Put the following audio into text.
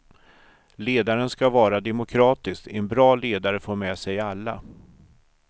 Ledaren ska vara demokratisk, en bra ledare får med sig alla.